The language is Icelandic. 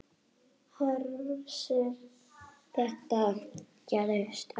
Hersir: Þetta gerist ekki strax?